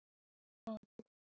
En þó það.